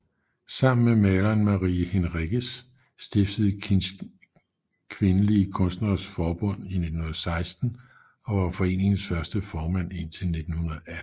Sammen med maleren Marie Henriques stiftede Kinch Kvindelige Kunstneres Samfund i 1916 og var foreningens første formand indtil 1918